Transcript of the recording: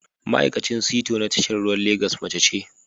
Ma'aikacin sito na tashar ruwan Legas mace ce